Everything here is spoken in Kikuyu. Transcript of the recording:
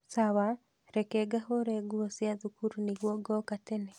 sawa, reke ngahũre nguo cia thukuru nĩguo ngoka tene